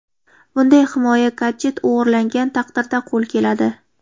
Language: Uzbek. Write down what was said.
Bunday himoya gadjet o‘g‘irlangan taqdirda qo‘l keladi.